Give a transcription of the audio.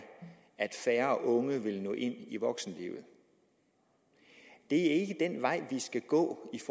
at færre unge vil nå ind i voksenlivet det er ikke den vej vi skal gå i